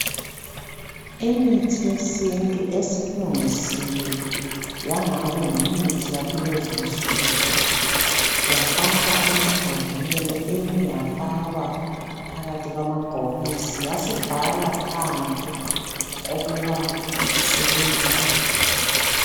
Imithi yesintu esilungisiwe yangani yimithi yakulezinsuku yafakwa emabhodleleni eyinye yafakakwa phakathi kwamabhokisi yasibhalwa phandle ukuba isebenzani.